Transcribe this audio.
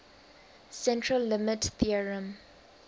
central limit theorem